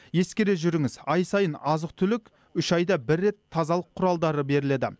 ескере жүріңіз ай сайын азық түлік үш айда бір рет тазалық құралдары беріледі